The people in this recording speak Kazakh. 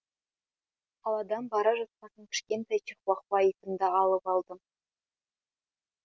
қаладан бара жатқасын кішкентай чихуахуа итімді алып алдым